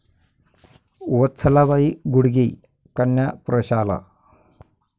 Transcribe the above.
वत्सलाबाई गुडगे कन्या प्रशाला